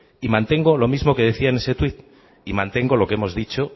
y mantengo lo mismo que decía en ese tweet y mantengo lo que hemos dicho